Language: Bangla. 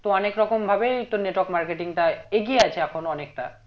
তো অনেক রকম ভাবেই তোর network marketing টা এগিয়ে আছে এখনো অনেকটা